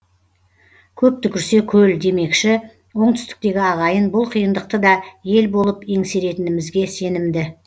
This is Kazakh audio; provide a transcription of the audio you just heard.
көп түкірсе көл демекші оңтүстіктегі ағайын бұл қиындықты да ел болып еңсеретінімізге сенімді